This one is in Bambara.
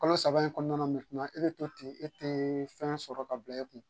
Kɔnɔ saba in kɔnɔna e be to ten e te fɛn sɔrɔ ka bila e kun.